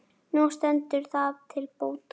Nú stendur það til bóta.